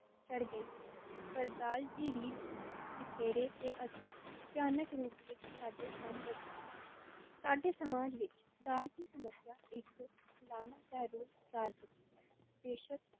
ਝੜ ਗਈਆਂ ਹਨ, ਪਰ ਦਾਜ ਦੀ ਰੀਤ ਤਿਖੇਰੇ ਤੇ ਅਤਿ ਭਿਆਨਕ ਰੂਪ ਵਿਚ ਸਾਡੇ ਸਾਹਮਣੇ ਆਈ ਹੈ, ਸਾਡੇ ਸਮਾਜ ਵਿਚ ਦਾਜ ਦੀ ਸਮੱਸਿਆ ਇਕ ਲਾਅਨਤ ਦਾ ਰੂਪ ਧਾਰ ਚੁੱਕੀ ਹੈ, ਬੇਸ਼ੱਕ